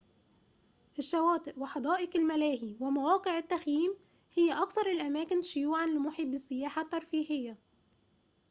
الشواطئ وحدائق الملاهي ومواقع التخييم هي أكثر الأماكن شيوعًا لمحبي السياحة الترفيهية